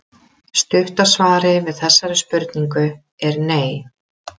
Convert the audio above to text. Stutta svarið við þessari spurningu er nei.